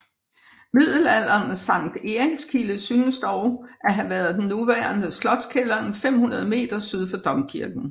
Middelalderens Sankt Erikskilde synes dog at have været den nuværende Slotskælderen 500 m syd for domkirken